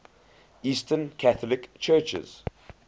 eastern catholic churches